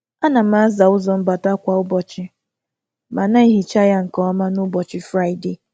A na m asa ụzọ mbata um kwa ụbọchị, ma um na-emecha ya nke ọma n’ụbọchị Fraịdee.